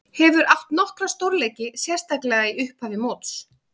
Hefur átt nokkra stórleiki, sérstaklega í upphafi móts.